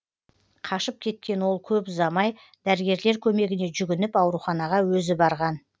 қашып кеткен ол көп ұзамай дәрігерлер көмегіне жүгініп ауруханаға өзі барған